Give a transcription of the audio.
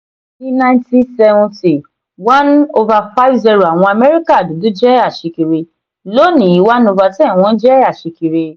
ní nineteen seventy one over five zero àwọn America dúdú jẹ́ aṣíkiri; lónìí one over ten wọ́n jẹ aṣíkiri.